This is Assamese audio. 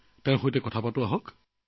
তেওঁৰ লগত কথা পাতো আহক